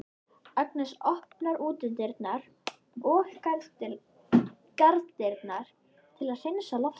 Agnes opnar útidyrnar og garðdyrnar til að hreinsa loftið.